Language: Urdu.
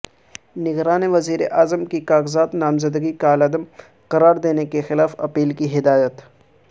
نگران وزیراعظم کی کاغذات نامزدگی کالعدم قرار دینے کیخلاف اپیل کی ہدایت